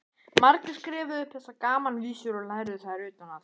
Margir skrifuðu upp þessar gamanvísur og lærðu þær utan að.